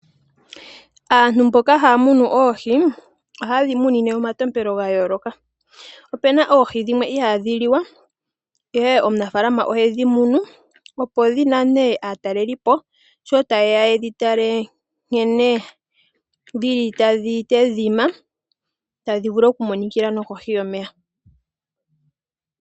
Aantu mboka haya munu oohi, oha ye dhi munine omatompelo gayooloka. Opena oohi dhimwe ihaadhi liwa, ihe omunafaalama ohe dhi munu, opo dhinane aanatalelipo sho ta ye ya yedhi tale nkene dhili tadhi tedhima tadhi vulu okumonikila nokohi yomeya.